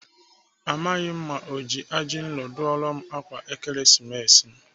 Amaghị m ma ọ ji ajinro dụọra m ákwà Ekeresimesi m.